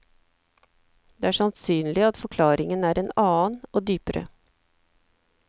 Det er sannsynlig at forklaringen er en annen, og dypere.